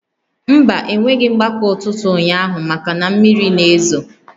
Mba, e nweghị mgbakọ ụtụtụ ụnyaahụ maka na mmiri na-ezo